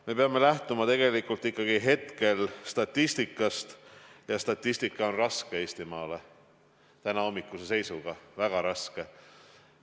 Me peame lähtuma ikkagi hetke statistikast ja statistika on tänahommikuse seisuga Eestimaale raske, väga raske.